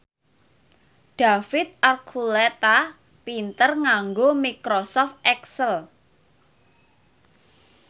David Archuletta pinter nganggo microsoft excel